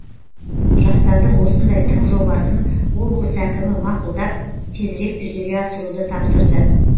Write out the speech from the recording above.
жастардың осындай тың жобасын облыс әкімі мақұлдап тезірек жүзеге асыруды тапсырды